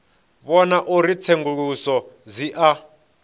vhona uri tsenguluso dzi a